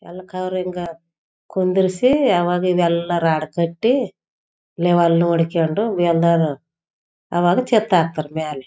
ಎಲ್ಲ್‌ ಕಾವ್‌ರಂಗ ಕುಂದಿರ್ಸಿ ಅವಾಗ ಇದೆಲ್ಲರ್ ಹಾಡ್‌ ಕಟ್ಟಿ ಲೆವಾಲ್ನು ಹೊಡ್ಕೊಂದು ಎಲ್ಲರು ಅವಾಗ ಚೆತ್ತಾಕ್ತಾರೆ ಮೆಲೆ.